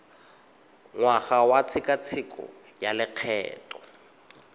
ngwaga wa tshekatsheko ya lokgetho